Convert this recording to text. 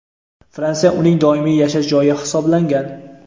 Fransiya uning doimiy yashash joyi hisoblangan.